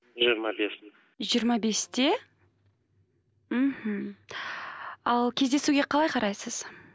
жиырма бесте жиырма бесте мхм ал кездесуге қалай қарайсыз